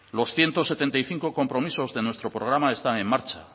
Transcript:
los ciento setenta y cinco compromisos de nuestro programa están en marcha